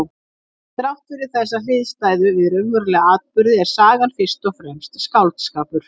Þrátt fyrir þessa hliðstæðu við raunverulega atburði er sagan fyrst og fremst skáldskapur.